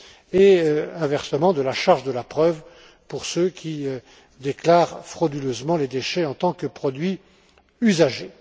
et, inversement, de la charge de la preuve pour ceux qui déclarent frauduleusement les déchets en tant que produits usagés.